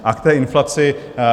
A k té inflaci.